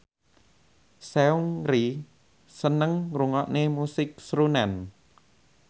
Seungri seneng ngrungokne musik srunen